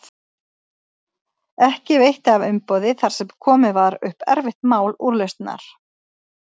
Ekki veitti af umboði þar sem komið var upp erfitt mál úrlausnar.